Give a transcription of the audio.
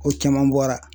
Ko caman bɔra